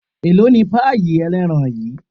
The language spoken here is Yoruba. elò ní payí eleerán yíí?